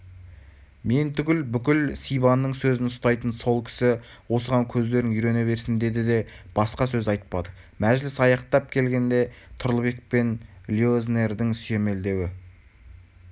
мен түгіл бүкіл сибанның сөзін ұстайтын сол кісі осыған көздерің үйрене берсін деді де басқа сөз айтпады мәжіліс аяқтап келгенде тұрлыбек пен леознердің сүйемелдеуі